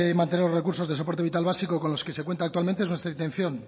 mantener los recursos de soporte vital básico con los que se cuenta actualmente es nuestra intención